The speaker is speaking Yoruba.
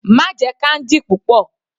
Má jẹ candy púpọ̀.